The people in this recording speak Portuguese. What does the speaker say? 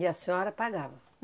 E a senhora pagava?